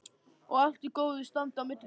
Og allt í góðu standi á milli ykkar?